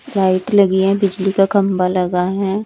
Light लगी हैं बिजली का खंबा लगा हैं।